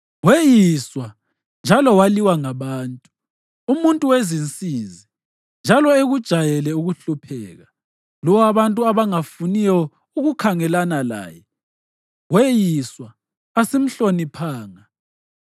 Weyiswa njalo waliwa ngabantu, umuntu wezinsizi, njalo ekujayele ukuhlupheka. Lowo abantu abangafuniyo ukukhangelana laye weyiswa, asimhloniphanga.